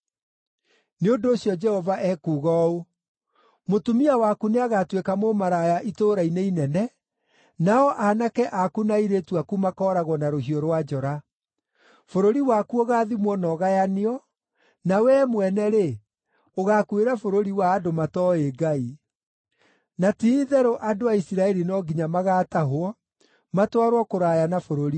“Nĩ ũndũ ũcio Jehova ekuuga ũũ: “ ‘Mũtumia waku nĩagatuĩka mũmaraya itũũra-inĩ inene, nao aanake aku na airĩtu aku makooragwo na rũhiũ rwa njora. Bũrũri waku ũgaathimwo na ũgayanio, na wee mwene-rĩ, ũgaakuĩra bũrũri wa andũ matooĩ Ngai. Na ti-itherũ andũ a Isiraeli no nginya magaatahwo, matwarwo kũraya na bũrũri wao.’ ”